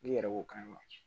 N'i yɛrɛ ko k'a ye wa